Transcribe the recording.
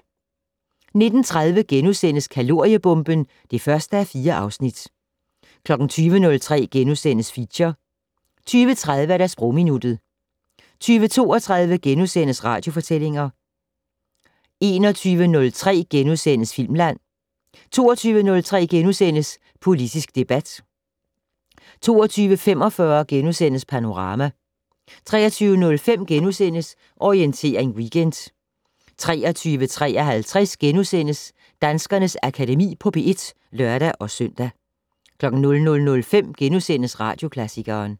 19:30: Kaloriebomben (1:4)* 20:03: Feature * 20:30: Sprogminuttet 20:32: Radiofortællinger * 21:03: Filmland * 22:03: Politisk debat * 22:45: Panorama * 23:05: Orientering Weekend * 23:53: Danskernes Akademi på P1 *(lør-søn) 00:05: Radioklassikeren *